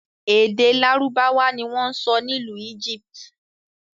Èdè lárúbáwá ni wọn ń sọ n'ilu Egypt.